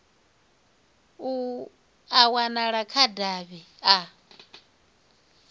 a wanala kha davhi a